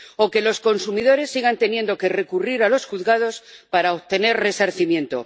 o que los consumidores sigan teniendo que recurrir a los juzgados para obtener resarcimiento